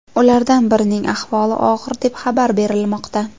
Ulardan birining ahvoli og‘ir deb xabar berilmoqda.